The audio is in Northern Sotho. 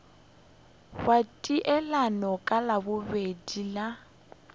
wa taelano ka labobedi la